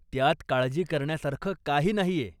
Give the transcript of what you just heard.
त्यात काळजी करण्यासारखं काही नाहीये.